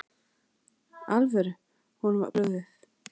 alvöru, honum var brugðið.